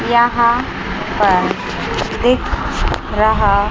यहां पर दिख रहा--